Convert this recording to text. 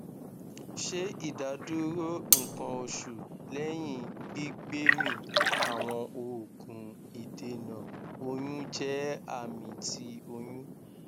ṣe idaduro nkan osu lẹhin gbigbemi awọn oogun idena oyun jẹ ami ti oyun